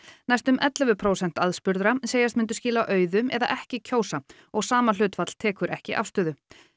næstum ellefu prósent aðspurðra segjast myndu skila auðu eða ekki kjósa og sama hlutfall tekur ekki afstöðu